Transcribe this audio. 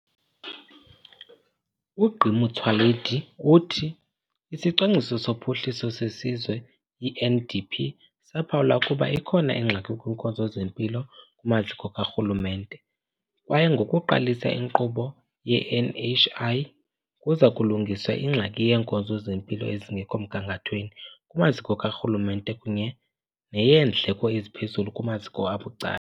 UGq Motsoaledi uthi iSicwangciso soPhuhliso seSizwe, i-NDP, saphawula ukuba ikhona ingxaki kwiinkonzo zempilo kumaziko karhulumente, kwaye ngokuqalisa inkqubo ye-NHI kuza kulungiswa ingxaki yeenkonzo zempilo ezingekho mgangathweni kumaziko karhulumente kunye neyeendleko eziphezulu kumaziko abucala.